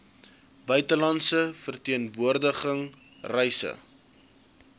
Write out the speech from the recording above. buitelandse verteenwoordiging reise